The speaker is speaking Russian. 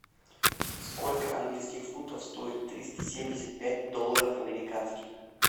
сколько английских фунтов стоит триста семьдесят пять долларов американских